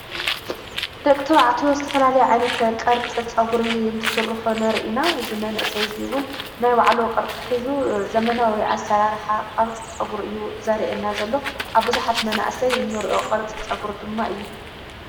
ደቅቶው ዕቴዎ ዝተፈላል ዓይነቲ ቐርጽ ጸጕር እንትስርሑ ነርኢና ዝመንእሰይዙይውን ናይ ባዕሉ ቕርጽ ኂዙ ዘመናወይ ኣሠራርሓ ቐርጽ ጸጕር እዩ ዛርአና ዘሎ ኣብብዙኃት መናእሰይ እኖርእዮ ቐርጽ ጸጕር ድማ እዩ።